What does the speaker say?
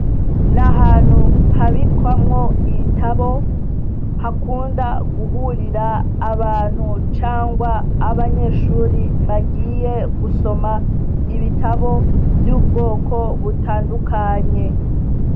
Ni ahantu habikwamwo ibitabo hakunda guhurira abantu canke abanyeshure bagiye gusoma ibitabo vy'ubwoko butandukanye.